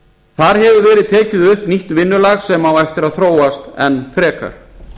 þar hefur verið tekið upp nýtt vinnulag sem á eftir að þróast enn frekar